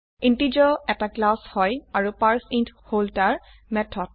integer এটা class হয় আৰু পাৰ্চেইণ্ট হল তাৰ মেথড